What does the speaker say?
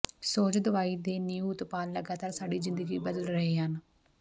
ਸੁਹਜ ਦਵਾਈ ਦੇ ਨਿਊ ਉਤਪਾਦ ਲਗਾਤਾਰ ਸਾਡੀ ਜ਼ਿੰਦਗੀ ਬਦਲ ਰਹੇ ਹਨ